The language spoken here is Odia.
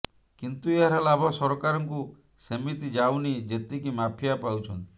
କିନ୍ତୁ ଏହାର ଲାଭ ସରକାରଙ୍କୁ ସେତିକି ଯାଉନି ଯେତିକି ମାଫିଆ ପାଉଛନ୍ତି